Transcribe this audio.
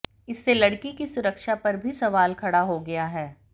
इससे लड़की की सुरक्षा पर भी सवाल खड़ा हो गया है